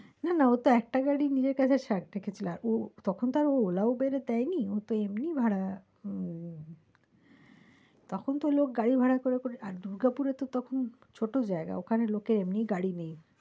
না না ও তো একটা গাড়ি নিজের কাছে থেকে ছিল ও তখন তো আরও ওলা উবের এ দেয় নি, ও তো এমনি ভাড়া উম তখন তো লোক গাড়ি ভাড়া করে করে আর দুর্গাপুরে তো তখন ছোটো জায়গা ওখানে লোকের এমনি গাড়ি নেই।